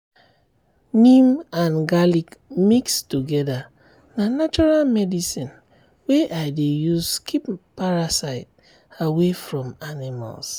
neem and garlic mix together na natural medicine wey i dey use keep parasite away from animals.